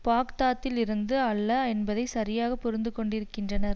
பாக்தாத்தில் இருந்து அல்ல என்பதை சரியாக புரிந்து கொண்டிருக்கின்றனர்